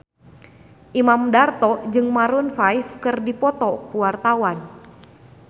Imam Darto jeung Maroon 5 keur dipoto ku wartawan